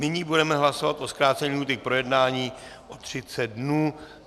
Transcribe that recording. Nyní budeme hlasovat o zkrácení lhůty k projednání na 30 dnů.